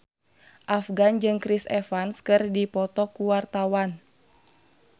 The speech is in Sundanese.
Afgan jeung Chris Evans keur dipoto ku wartawan